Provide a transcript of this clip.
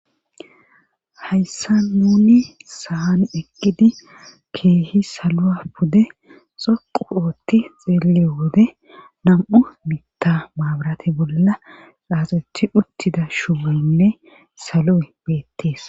Hayssa nuni saan eqqidi keehi saloa pude xoqu ootti xeeliyo wode nam7u mitta maabarate bolla xaasethi uttida shumeynne salo7e beettees